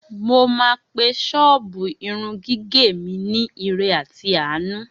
Mo máa pe ṣọ́ọ̀bù irun gígẹ̀ mi ni Ire àti Àánú